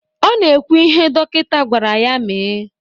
Ọ na-ekwu ihe dọkịta gwara ya mee.